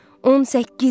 18 il!